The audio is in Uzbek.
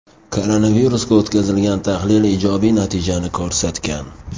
Koronavirusga o‘tkazilgan tahlil ijobiy natijani ko‘rsatgan.